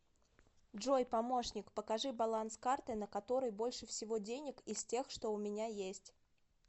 джой помощник покажи баланс карты на которой больше всего денег из тех что у меня есть